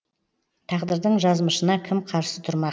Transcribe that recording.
тағдырдың жазымышына кім қарсы тұрмақ